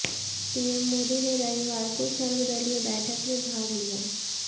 PM Modi ने रविवार को सर्वदलीय बैठक में भाग लिया